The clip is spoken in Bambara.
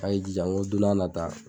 A' ye jija ŋo don n'a nata